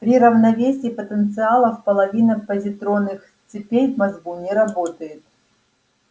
при равновесии потенциалов половина позитронных цепей в мозгу не работает